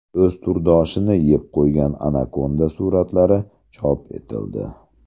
O‘z turdoshini yeb qo‘ygan anakonda suratlari chop etildi.